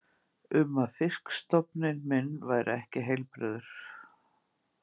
um að fisk- stofn minn væri ekki heilbrigður.